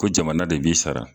Ko jamana de b'i sara